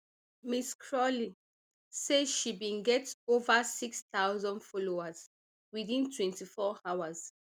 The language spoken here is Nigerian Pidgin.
ms crawley say she bin get ova six thousand followers within twenty-four hours